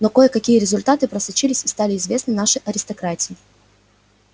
но кое-какие результаты просочились и стали известны нашей аристократии